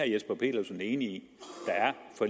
jesper petersen enig